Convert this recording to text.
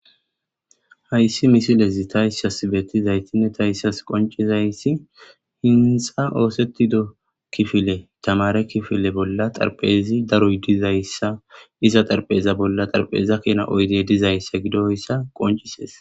hayssi misilezi tayissas beettizaytinne tayissas qoncizayssi hintsa oosettido kifile tamare kifile bolla xarpezi daroy dizayssa iza xarpeza bolla xarpeza kena oyde dizayssa gidoyssa qoncises